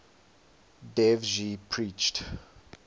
dev ji preached